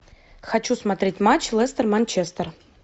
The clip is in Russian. хочу смотреть матч лестер манчестер